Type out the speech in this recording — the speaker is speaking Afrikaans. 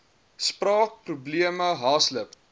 spraak probleme haaslip